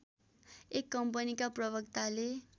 एक कम्पनीका प्रवक्ताले